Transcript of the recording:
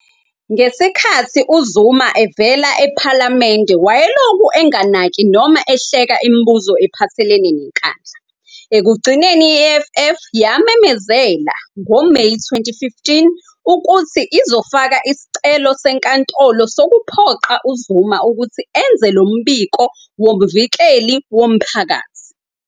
Ngesikhathi uZuma evela ePhalamende wayelokhu enganaki noma ehleka imibuzo ephathelene neNkandla. Ekugcineni i-EFF yamemezela, ngoMeyi 2015, ukuthi izofaka isicelo senkantolo sokuphoqa uZuma ukuthi enze lo mbiko woMvikeli woMphakathi.